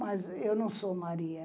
Mas eu não sou Maria.